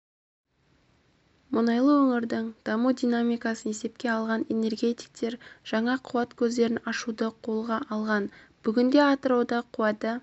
мұнайлы өңірдің даму динамикасын есепке алған энергетиктер жаңа қуат көздерін ашуды қолға алған бүгінде атырауда қуаты